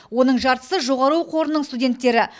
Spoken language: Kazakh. оның жартысы жоғары оқу орнының студенттері